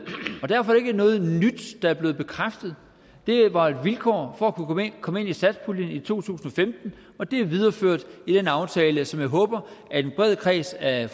derfor er det ikke noget nyt der er blevet bekræftet det var et vilkår for at kunne komme med i satspuljen i to tusind og femten og det er videreført i den aftale som jeg håber at en bred kreds af